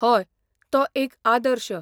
हय, तो एकआदर्श.